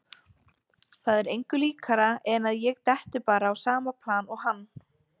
Það er engu líkara en að ég detti bara á sama plan og hann.